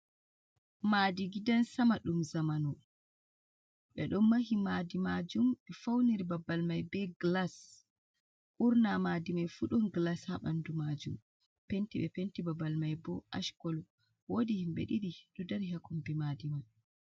Maɗi giɗan sama ɗum zamanu. be ɗon mahi maɗi majum be fauniri babal mai be gilas burna maɗi mai fu ɗun gilas ha banɗu majum. Penti be penti babal mai bo ash kolo. Woɗi himbe diɗi ɗo ɗari ha kombi maɗi mai.